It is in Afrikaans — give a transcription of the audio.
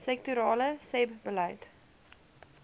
sektorale sebbeleid